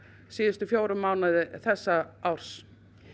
síðustu fjóra mánuði þessa árs